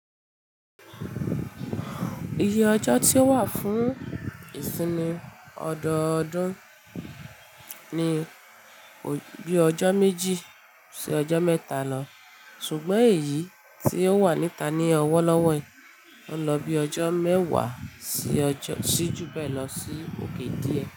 Iye ọjọ́ tí ó wà fún ìsinmi ọdọọdún ni o, bi ọjọ́ méjì sí ọjọ́ mẹ́ta lọ, ṣùgbọ́n èyí tí ó wà níta ní ọwọ́ lọ́wọ́ i, ó n lọ bí ọjọ́ mẹ́wàá sí ojọ́ sí ju bẹ́ẹ̀ lọ sí òkè díẹ̀.